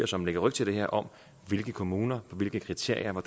som lægger ryg til det her om hvilke kommuner og hvilke kriterier og